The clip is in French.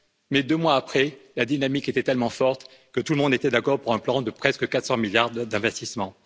Mais deux mois après, la dynamique était tellement forte que tout le monde était d'accord pour un plan de presque 400 milliards d'investissements.